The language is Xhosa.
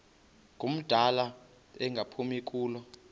ngumdala engaphumi kulo